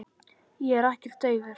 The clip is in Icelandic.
Ég er ekkert daufur.